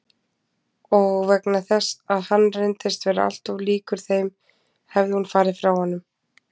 Og vegna þess að hann reyndist vera alltof líkur þeim hefði hún farið frá honum.